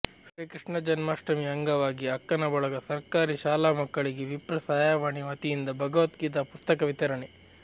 ಶ್ರೀಕೃಷ್ಣ ಜನ್ಮಾಷ್ಟಮಿ ಅಂಗವಾಗಿ ಅಕ್ಕನ ಬಳಗ ಸರ್ಕಾರಿ ಶಾಲಾ ಮಕ್ಕಳಿಗೆ ವಿಪ್ರ ಸಹಾಯವಾಣಿ ವತಿಯಿಂದ ಭಗವದ್ಗೀತಾ ಪುಸ್ತಕ ವಿತರಣೆ